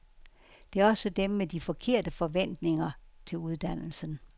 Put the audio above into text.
Det er også dem med de forkerte forventninger til uddannelsen.